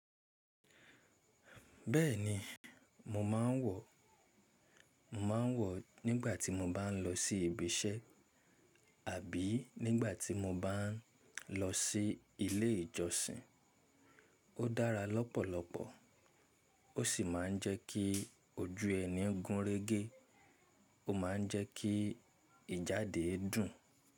Bẹ́ẹ̀ni mo máa ń wọ̀, mo máa ń wọ̀ nígbà tí mo bá ń lọ sí ibi iṣẹ́ àbí nígbà tí mo bá ń lọ sí ilé ìjọsìn. Ó dára lọ́pọ̀lọpọ̀ ó sì máa ń jẹ́ kí ojú ẹni gúnrégé ó máa ń jẹ́ kí ìjáde dùn.